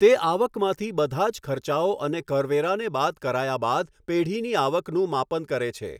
તે આવકમાંથી બધા જ ખર્ચાઓ અને કરવેરાને બાદ કરાયા બાદ પેઢીની આવકનું માપન કરે છે.